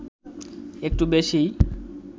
একটু বেশীই